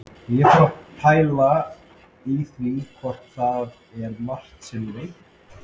Og ég fór að pæla í því hvað það er margt sem ég veit ekki.